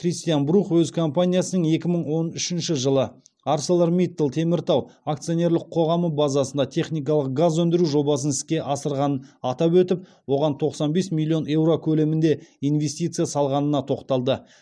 кристиан брух өз компаниясының екі мың он үшінші жылы арселор миттал теміртау акционерлік қоғамы базасына техникалық газ өндіру жобасын іске асырғанын атап өтіп оған тоқсан бес миллион еуро көлемінде инвестиция салғанына тоқталды